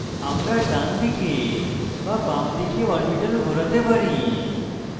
আমরা ডানদিকে বা বামদিকে orbitals ঘোরাতে পারি